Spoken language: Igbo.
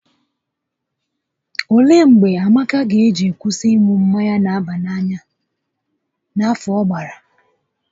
Olee mgbe Amaka ga eji kwụsị ịṅụ mmanya n'aba n'anya n'afọ ọ gbara?